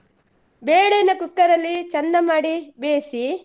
ಬೇಳೇನಾ cooker ಅಲ್ಲಿ ಚಂದ ಮಾಡಿ ಬೇಯಿಸಿ.